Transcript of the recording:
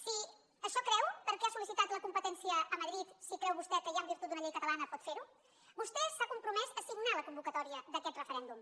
si això creu per què n’ha sollicitat la competència a madrid si creu vostè que ja en virtut d’una llei catalana pot fer ho vostè s’ha compromès a signar la convocatòria d’aquest referèndum